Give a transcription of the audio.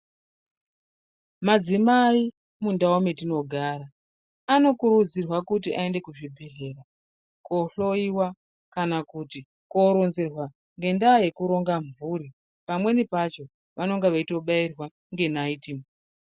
Madzimai mundau mwetinogara anokurudzirwa kuti aende kuzvibhehlera kohloiwa kana kuti ngendaa yekuronzerwa ngendaa yekuronga mhuri pamweni pacho vanonga veitobaiwa ngenaiiti.